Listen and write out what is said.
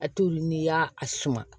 A t'olu n'i y'a a suma